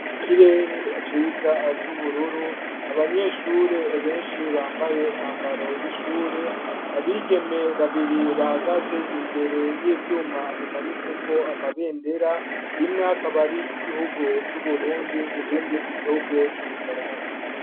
Ikirere iciza c'ubururu abanyeshure benshi bambaye umwambaro w'ishure abigeme babiri bahagaze imbere y'ivyuma bimanitse ko amabendera imw'akab'ari iryigihugu c'uburundi irindi igihugu c'ubufaransa.